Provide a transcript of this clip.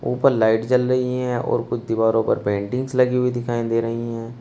ऊपर लाइट जल रही हैं और कुछ दीवारो पर पेंटिंग्स लगी हुई दिखाई दे रहीं हैं।